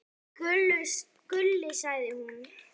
Gulli, sagði hún.